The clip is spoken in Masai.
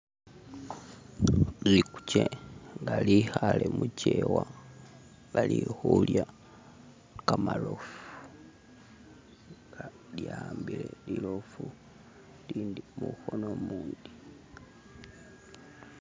Likhukye nga likale muchewa lilikulya kamarofu, lyahambile rirofu lindi mukono mundi